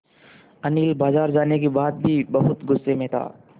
अनिल बाज़ार जाने के बाद भी बहुत गु़स्से में था